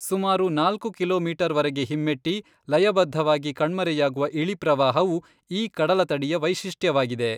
ಸುಮಾರು ನಾಲ್ಕು ಕಿಲೋಮೀಟರ್ವರೆಗೆ ಹಿಮ್ಮೆಟ್ಟಿ, ಲಯಬದ್ಧವಾಗಿ ಕಣ್ಮರೆಯಾಗುವ ಇಳಿಪ್ರವಾಹವು ಈ ಕಡಲತಡಿಯ ವೈಶಿಷ್ಟ್ಯವಾಗಿದೆ.